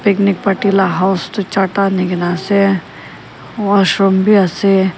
charta anikae na ase washroom bi ase.